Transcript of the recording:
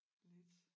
Lidt